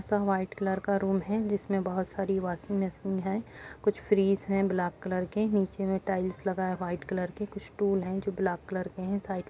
सब white colour का room है जिसमे बहोत सारी वॉशिंग मशीन है कुछ फ्रीज़ हैं ब्लैक कलर के नीचे मे टाइल्स लगा है व्हाइट कलर के कुछ टूल है जो ब्लैक कलर के हैं साइड --